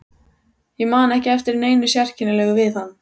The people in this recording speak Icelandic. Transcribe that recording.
Ég man ekki eftir neinu sérkennilegu við hann.